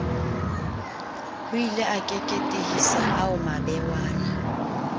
hoile a keketehisa ao mabewana